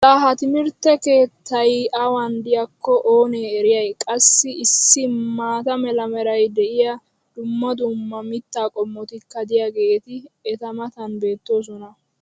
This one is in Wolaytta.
laa ha timirtte keettay awan diyaakko oonee eriyay! qassi issi maata mala meray diyo dumma dumma mitaa qommotikka diyaageeti eta matan beetoosona